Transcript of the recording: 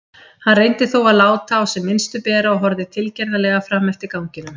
Hann reyndi þó að láta á sem minnstu bera og horfði tilgerðarlega fram eftir ganginum.